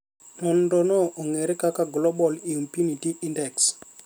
Nonro no ong’ere kaka Global Impunity Index